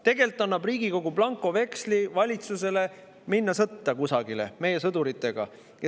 Tegelikult annab Riigikogu valitsusele blankoveksli minna sõtta kusagile meie sõduritega.